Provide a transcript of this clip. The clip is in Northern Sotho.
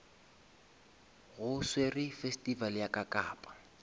go swerwe festival ya kakapa